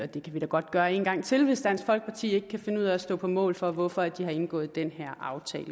det kan vi da godt gøre en gang til hvis dansk folkeparti ikke kan finde ud af at stå på mål for hvorfor de har indgået den her aftale